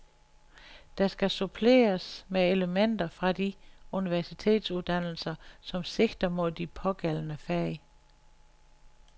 Der skal suppleres med elementer fra de universitetsuddannelser, som sigter mod de pågældende fag.